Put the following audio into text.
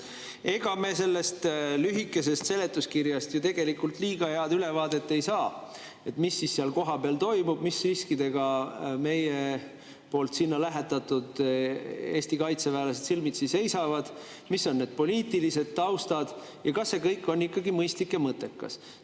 Ega me sellest lühikesest seletuskirjast tegelikult ju liiga head ülevaadet ei saa sellest, mis seal kohapeal toimub, mis riskidega meie sinna lähetatud Eesti kaitseväelased silmitsi seisavad, milline on poliitiline taust ja kas see kõik on ikkagi mõistlik ja mõttekas.